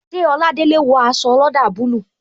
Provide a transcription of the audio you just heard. Ṣé Oladele wo aṣọ olada bayij